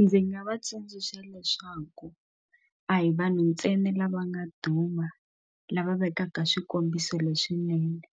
Ndzi nga va tsundzuxa leswaku a hi vanhu ntsena lava nga duma lava vekaka swikombiso leswinene